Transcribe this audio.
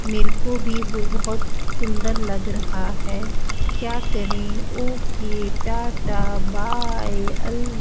मेरे को भी बहोत सुंदर लग रहा है क्या करें ओके टाटा बाय अल --